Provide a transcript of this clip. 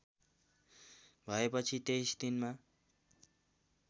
भएपछि २३ दिनमा